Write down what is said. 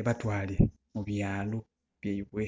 ebatwale mubyalo byaibwe